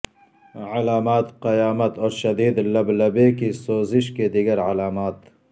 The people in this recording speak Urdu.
علامات قیامت اور شدید لبلبے کی سوزش کے دیگر علامات